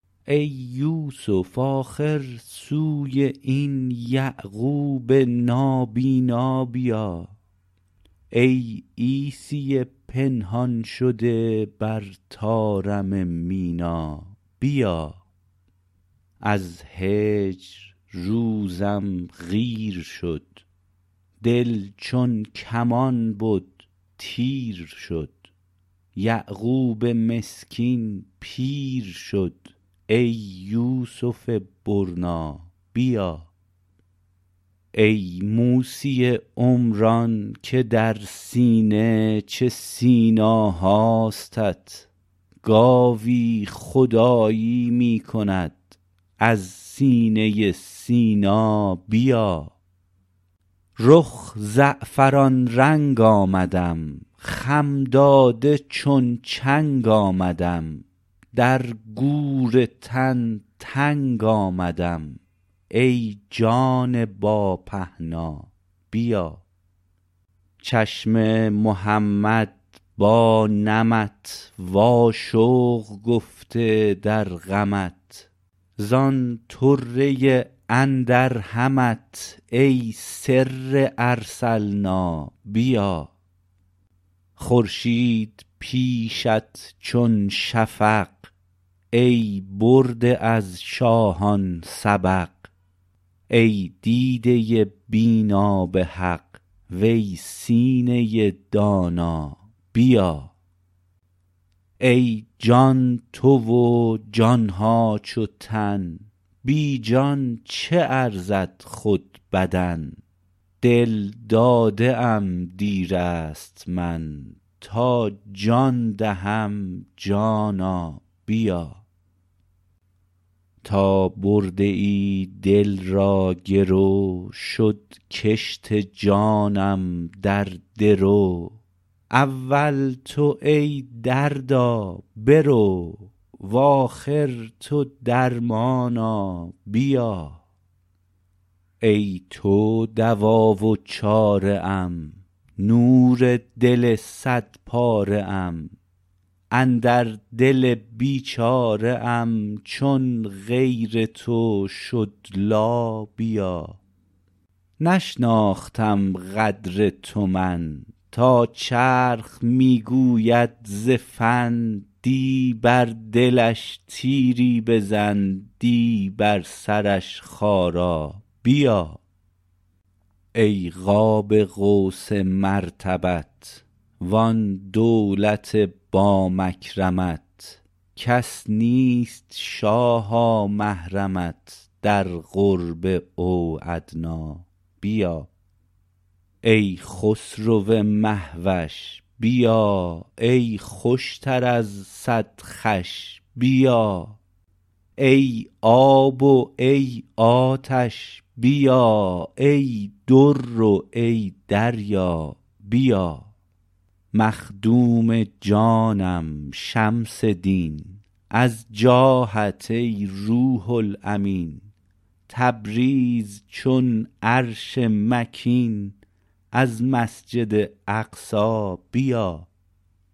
ای یوسف آخر سوی این یعقوب نابینا بیا ای عیسی پنهان شده بر طارم مینا بیا از هجر روزم قیر شد دل چون کمان بد تیر شد یعقوب مسکین پیر شد ای یوسف برنا بیا ای موسی عمران که در سینه چه سینا هاستت گاوی خدایی می کند از سینه سینا بیا رخ زعفران رنگ آمدم خم داده چون چنگ آمدم در گور تن تنگ آمدم ای جان با پهنا بیا چشم محمد با نمت واشوق گفته در غمت زان طره اندر همت ای سر ارسلنا بیا خورشید پیشت چون شفق ای برده از شاهان سبق ای دیده بینا به حق وی سینه دانا بیا ای جان تو و جان ها چو تن بی جان چه ارزد خود بدن دل داده ام دیر است من تا جان دهم جانا بیا تا برده ای دل را گرو شد کشت جانم در درو اول تو ای دردا برو و آخر تو درمانا بیا ای تو دوا و چاره ام نور دل صدپاره ام اندر دل بیچاره ام چون غیر تو شد لا بیا نشناختم قدر تو من تا چرخ می گوید ز فن دی بر دلش تیری بزن دی بر سرش خارا بیا ای قاب قوس مرتبت وان دولت با مکرمت کس نیست شاها محرمت در قرب او ادنی بیا ای خسرو مه وش بیا ای خوشتر از صد خوش بیا ای آب و ای آتش بیا ای در و ای دریا بیا مخدوم جانم شمس دین از جاهت ای روح الامین تبریز چون عرش مکین از مسجد اقصی بیا